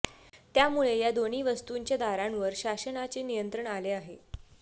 त्यामुळे या दोन्ही वस्तूंच्या दरांवर शासनाचे नियंत्रण आले आहे